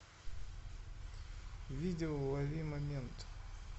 видео ловимомент